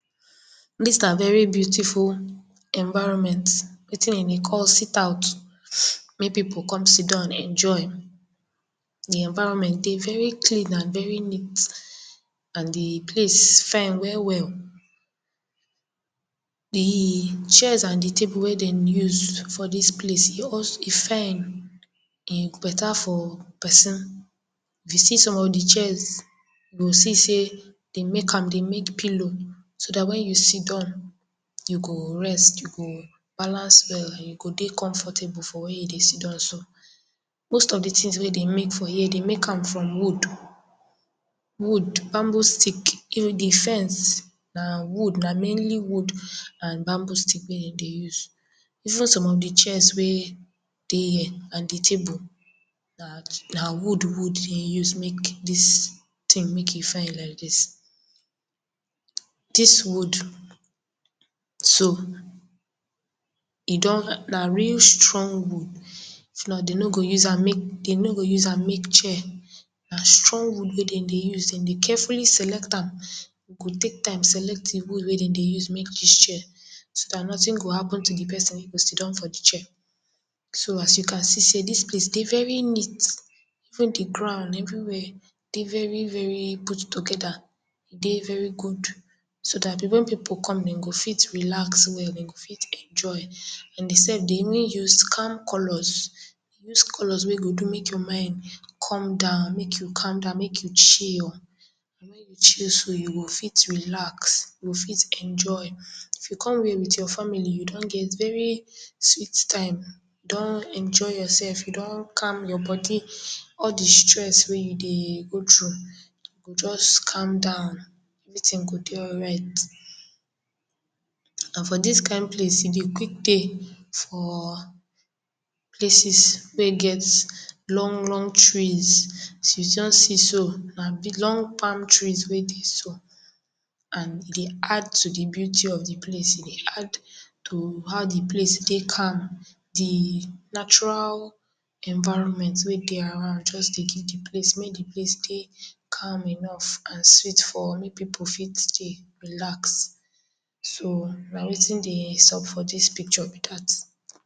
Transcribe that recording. Dis na veri beautiful environment wetin de dey call sit out make pipu con sidon enjoy Di environment dey very clean and very neat and di place fine well-well di chairs and di tables wey dey use for dis place dey also e fine, e beta for pesin, if you see som of di chairs you go see sey, den make am. De make pilo so dat wen you sidon, you go rest, you go balance well and you go dey confortable for where you go dey sidon so. Most of di tins wey dey make for here, dey make am from wood wood bamboo stick, even di fence Na wood, na mainly wood and bamboo stick wey dem dey use, even som of di chairs wey dey here and table, na wood-wood wey dey here de take us make dis tin make e fine like dis. Dis wood too, na real strong wood, if not, dem no go use am make chair na strong wood wey dem dey use. Carefully select am, you go take time select di wud wey dem dey take do dis chair so dat notin go happen with di pesin wey go sidon for di chair. So, as you can see sey dis place dey veri neat, even di ground, everi where dey very-veri gud togeda, dey very gud so dat so dat wen pipu come, dem go fit relax well, sem go fit enjoy. And sef, dey even use calm colors. Dis color wey you go do make your mind come down, make you come down make you chill you go fit relax, you go fit enjoy, if you come with your family, you don get very sweet time, you don enjoy your sef, you don calm your bodi, all di stress wey you dey go through go just calm down, everi tin go dey alright. And for dis kind place e dey quick tey for places wey get long-long trees, as you don see so, na long palm tree wey dey so and e dey add to di beauty of di place to how di place dey calm, di natural environment wey dey around just dey give di place mey di place dey calm enof and sweet for mey pipu fit dey relax, so, na wetin dey sub for dis pikcho be dat.